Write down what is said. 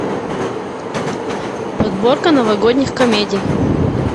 подборка новогодних комедий